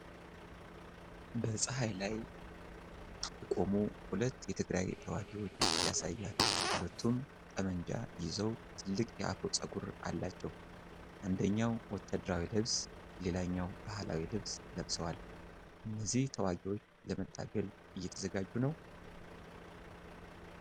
በፀሐይ ላይ የቆሙ ሁለት የትግራይ ተዋጊዎች ያሳያል። ሁለቱም ጠመንጃ ይዘው ትልቅ የአፍሮ ፀጉር አላቸው። አንደኛው ወታደራዊ ልብስ ሌላኛው ባህላዊ ልብስ ለብሷል። እነዚህ ተዋጊዎች ለመታገል እየተዘጋጁ ነው?